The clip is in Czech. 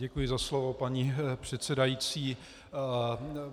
Děkuji za slovo, paní předsedající.